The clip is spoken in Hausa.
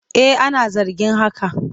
Eh ana zargin haka.